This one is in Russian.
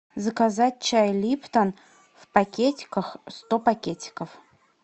заказать чай липтон в пакетиках сто пакетиков